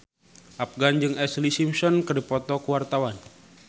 Afgan jeung Ashlee Simpson keur dipoto ku wartawan